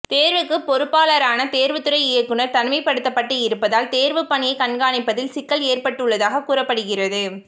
தேர்வுக்கு பொறுப்பாளரான தேர்வுத்துறை இயக்குனர் தனிமைப்படுத்தப்பட்டு இருப்பதால் தேர்வு பணியை கண்காணிப்பதில் சிக்கல் ஏற்பட்டுள்ளதாக கூறப்படுகிறது